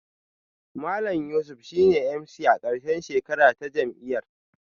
Malam Yusuf shine MC a karshen shekara ta jam'iyyar